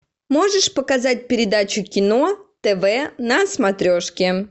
можешь показать передачу кино тв на смотрешке